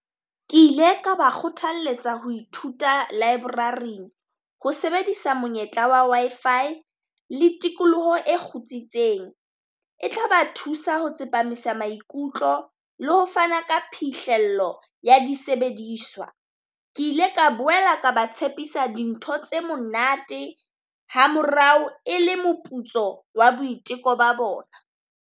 Ke ile ka ba kgothalletsa ho Ithuta Library-ng, ho sebedisa monyetla wa Wi-Fi le tikoloho e kgotsitseng. E tla ba thusa ho tsepamisa maikutlo le ho fana ka phihlello ya disebediswa. Ke ile ka boela ka ba tshepisa dintho tse monate ha morao e le moputso wa boiteko ba bona.